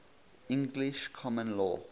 english common law